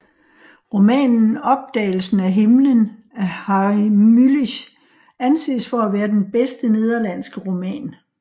Romanen Opdagelsen af himlen af Harry Mulisch anses for at være den bedste nederlandske roman